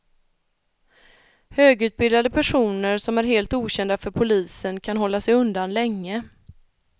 Högutbildade personer som är helt okända för polisen kan hålla sig undan länge.